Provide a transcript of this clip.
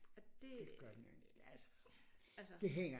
Og det altså